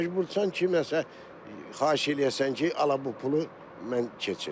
Məcbursan kiməsə xahiş eləyəsən ki, ala bu pulu mən keçirim.